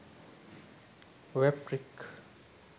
wap trick